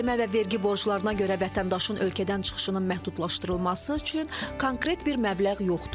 Cərimə və vergi borclarına görə vətəndaşın ölkədən çıxışının məhdudlaşdırılması üçün konkret bir məbləğ yoxdur.